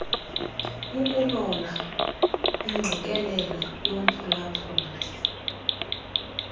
ukulola ingqikelelo yomphulaphuli